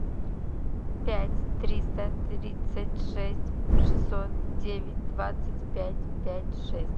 пять триста тридцать шесть шестьсот девять двадцать пять пять шесть